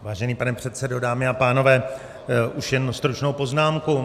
Vážený pane předsedo, dámy a pánové, už jen stručnou poznámku.